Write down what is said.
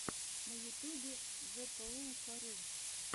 на ютубе зэпоулфорю